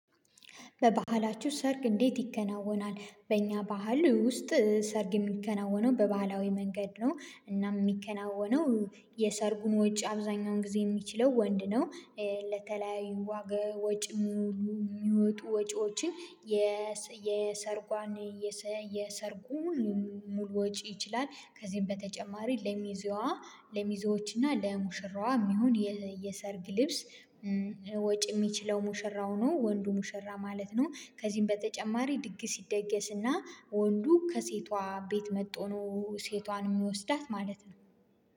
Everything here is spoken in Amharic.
በባህላችሁ ሰርግ እንዴት ይከናወናል? በእኛ ባህል ውስጥ ሰርግ የሚከናወነው በባህላዊ መንገድ ነው። እናም የሚከናወነው የሰርጉን ወጪ አብዛኛውን ጊዜ የሚችለው ወንድ ነው። ለተለያዩ ዋጋ ወጪ የሚወጡ ወጪዎችን የሰርጓን የሰርጉን ሙሉ ወጪ ይችላል። ከዚህም በተጨማሪ ለሚዜዋ ለሚዜዎች እና ለሙሽራዋ የሚሆን የሰርግ ልብስ ወጪ የሚችለው ሙሽራው ነው ወንዱ ሙሽራ ማለት ነው። ከዚህም በተጨማሪ ድግስ ይደገስና ወንዱ ከሴቷ ቤት መጥቶ ነው ሴቷን የሚወስዳት ማለት ነው